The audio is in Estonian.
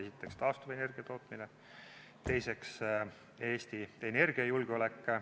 Esiteks, taastuvenergia tootmine, teiseks, Eesti energiajulgeolek.